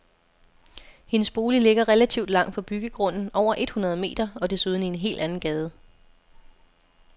Hendes bolig ligger relativt langt fra byggegrunden, over et hundrede meter, og desuden i en helt anden gade.